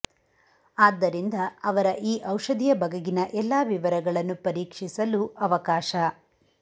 ಆದ್ದರಿಂದ ಅವರ ಈ ಔಷಧಿಯ ಬಗೆಗಿನ ಎಲ್ಲಾ ವಿವರಗಳನ್ನು ಪರೀಕ್ಷಿಸಲು ಅವಕಾಶ